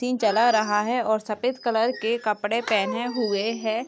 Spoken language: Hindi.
--चला रहा है और सफेद कलर के कपड़े पहने हुए हैं। .